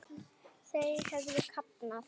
Þau höfðu kafnað.